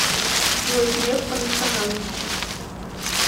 джой греф по национальности